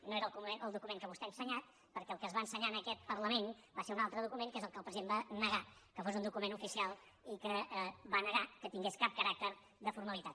no era el document que vostè ha ensenyat perquè el que es va ensenyar en aquest parlament va ser un altre document que és el que el president va negar que fos un document oficial i que va negar que tingués cap caràcter de formalitat